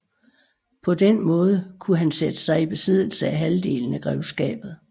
På den måde kunne han sætte sig i besiddelse af halvdelen af grevskabet